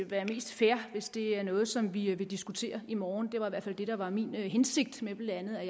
være mest fair hvis det er noget som vi vi diskuterer i morgen det var i hvert fald det der var min hensigt med blandt